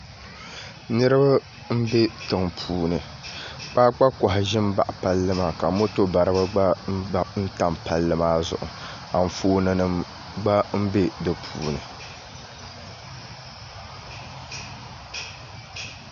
Niraba n bɛ tiŋpuuni kpaakpa koha ʒimi n baɣa palli maa ka moto baribi gba tam palli maa zuɣu Anfooni nim gba bɛ di puuni